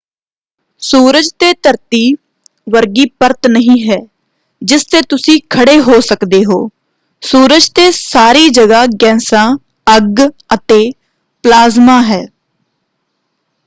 ਸੂਰਜ ਤੇ ਧਰਤੀ ਵਰਗੀ ਪਰਤ ਨਹੀਂ ਹੈ ਜਿਸ ਤੇ ਤੁਸੀਂ ਖੜੇ ਹੋ ਸਕਦੇ ਹੋ। ਸੂਰਜ ਤੇ ਸਾਰੀ ਜਗ੍ਹਾਂ ਗੈਸਾਂ ਅੱਗ ਅਤੇ ਪਲਾਜ਼ਮਾ ਹੈ।